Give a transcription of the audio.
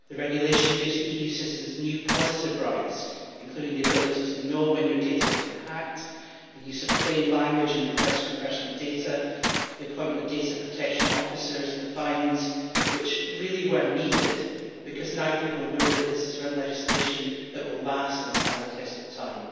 The regulation gives EU citizens new positive rights, including the ability to know when your data has been hacked, the use of plain language in requests for personal data, the appointment of data protection officers, and the fines which really were needed, because now people know that this is real legislation that will last and stand the test of time.